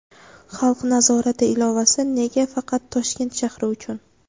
"Xalq nazorati" ilovasi nega faqat Toshkent shahri uchun?.